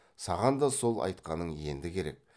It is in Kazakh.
саған да сол айтқаның енді керек